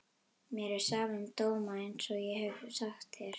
Mér er sama um dóma einsog ég hef sagt þér.